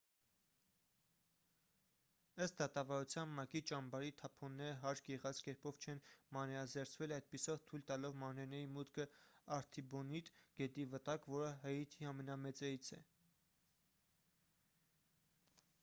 ըստ դատավարության մակ-ի ճամբարի թափոնները հարկ եղած կերպով չեն մանրէազերծվել այդպիսով թույլ տալով մանրէների մուտքը արթիբոնիտ գետի վտակ որը հայիթիի ամենամեծերից է